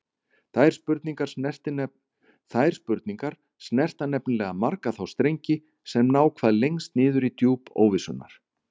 Þær spurningar snerta nefnilega marga þá strengi sem ná hvað lengst niður í djúp óvissunnar.